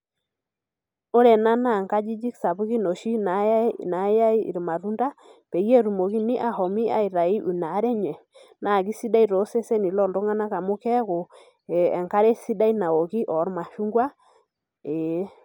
Ore enaa naa nkajijik sapukin oshi nayae irmatunda peyie etumokini ashomoita aitau inaare enye na kesidai toseseni loltunganak amu keaku enkare sidai naoki ormashungwa. eeh